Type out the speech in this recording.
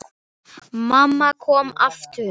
Mamma kom aftur.